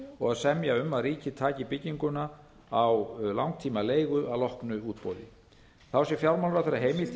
og að semja um að ríkið taki bygginguna á langtímaleigu að loknu útboði fjármálaráðherra sé heimilt í